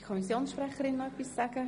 Kommissionssprecherin der SAK.